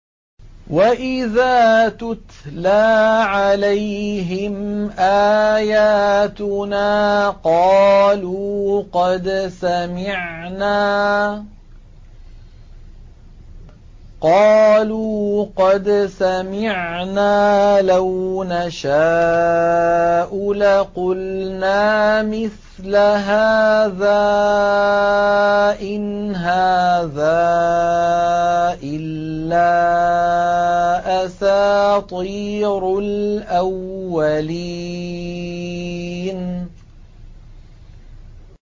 وَإِذَا تُتْلَىٰ عَلَيْهِمْ آيَاتُنَا قَالُوا قَدْ سَمِعْنَا لَوْ نَشَاءُ لَقُلْنَا مِثْلَ هَٰذَا ۙ إِنْ هَٰذَا إِلَّا أَسَاطِيرُ الْأَوَّلِينَ